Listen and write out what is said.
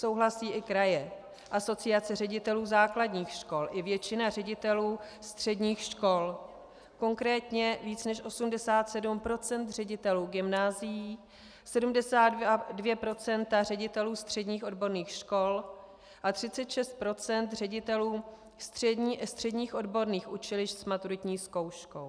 Souhlasí i kraje, Asociace ředitelů základních škol i většina ředitelů středních škol, konkrétně víc než 87 % ředitelů gymnázií, 72 % ředitelů středních odborných škol a 36 % ředitelů středních odborných učilišť s maturitní zkouškou.